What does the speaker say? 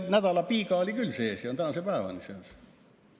Nädalapiiga on küll seal tänase päevani sees.